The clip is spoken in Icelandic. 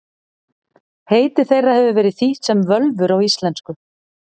Heiti þeirra hefur verið þýtt sem völvur á íslensku.